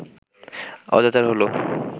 অজাচার হলো